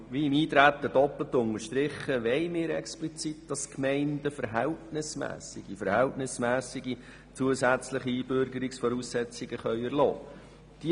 Wie ich schon beim Eintreten sagte – doppelt unterstrichen –, wollen wir explizit, dass die Gemeinden verhältnismässige – verhältnismässige! – zusätzliche Einbürgerungsvoraussetzungen erlassen können.